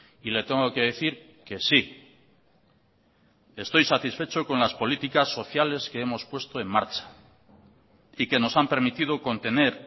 y le tengo que decir que sí estoy satisfecho con las políticas sociales que hemos puesto en marcha y que nos han permitido contener